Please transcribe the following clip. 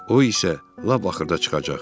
o isə lap axırda çıxacaq.